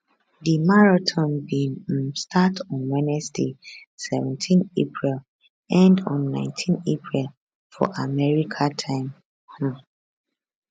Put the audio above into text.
di marathon bin um start on wednesday seventeenapril end on 19 april for america time um